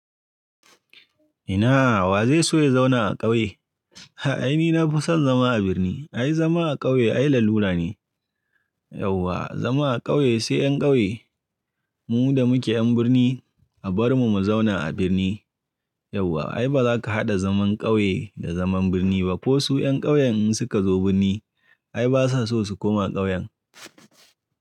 Ina wa zai so ya zauna a ƙauye? Ai ni na fi son zama a birni. Ai zama a ƙauye ai lalura ne. Yauwa zama a ƙauye sai 'yan ƙauye. Mu da muke 'yan birni a bar mu mu zauna a birni. Yauwa ai ba za ka haɗa zaman ƙauye da zaman birni ba ko su 'yan ƙauyen in suka zo birni ai ba sa so su koma ƙauyen.